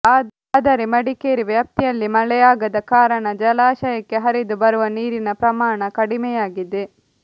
ಆದರೆ ಮಡಿಕೇರಿ ವ್ಯಾಪ್ತಿಯಲ್ಲಿ ಮಳೆಯಾಗದ ಕಾರಣ ಜಲಾಶಯಕ್ಕೆ ಹರಿದು ಬರುವ ನೀರಿನ ಪ್ರಮಾಣ ಕಡಿಮೆಯಾಗಿದೆ